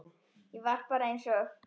Ég var bara einsog